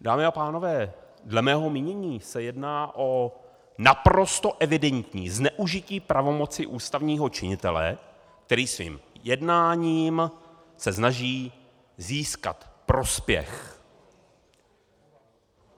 Dámy a pánové, dle mého mínění se jedná o naprosto evidentní zneužití pravomoci ústavního činitele, který svým jednáním se snaží získat prospěch.